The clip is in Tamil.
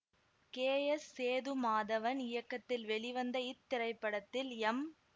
கே எஸ் சேது மாதவன் இயக்கத்தில் வெளிவந்த இத்திரைப்படத்தில் எம்